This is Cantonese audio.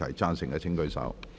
贊成的請舉手。